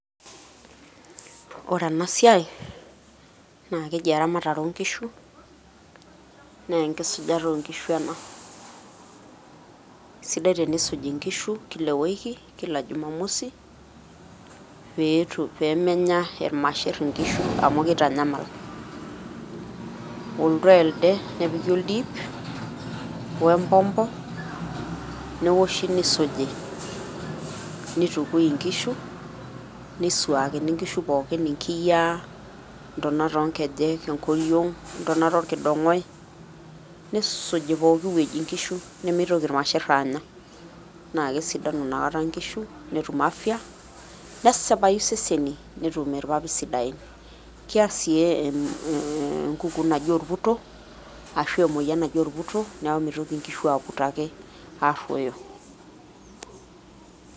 Ore enasiai, na keji eramatare onkishu, nenkisujata onkishu ena. Sidai tenisuji nkishu kila ewiki, kila jumamosi, peetum pemenya irmasher inkishu amu kitanyamal. Oltoo elde, nepiki oldiip, wempompo, newoshi nisuji, nitukui inkishu, nisuakini nkishu pookin inkiyiaa, ntonat onkejek, enkoriong',intonat orkidong'oi, nissuji pooki woi inkishu, nimitoki irmasher aanya. Na kesidanu nakata nkishu, netum afya ,nesipayu iseseni netum irpapit sidain. Keer si enkukuu naji orputo, ashu emoyian naji orputo, neeku mitoki nkishu aputo ake, arruoyo.